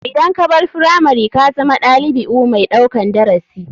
Idan kabar firamari kazama ɗalibiu mai ɗaukan darasi.